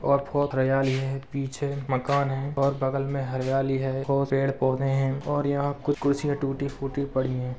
और बहोत हरियाली है पीछे मकान है और बगल में हरियाली है और पेड़-पौधे हैं और यहां कुछ कुर्सियां टूटी-फूटी पड़ी हैं।